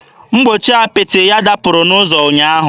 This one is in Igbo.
Mgbochi apịtị ya dapụrụ n'ụzọ ụnyaahụ.